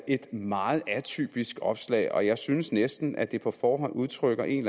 et meget atypisk opslag og jeg synes næsten at det på forhånd udtrykker en